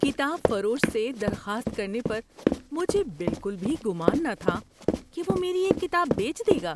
کتاب فروش سے درخواست کرنے پر مجھے بالکل بھی گمان نہ تھا کہ وہ میری ایک کتاب بیچ دے گا!